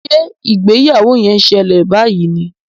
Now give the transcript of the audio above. Ṣe ìgbéyàwó yén ṣẹlẹ bayí ní?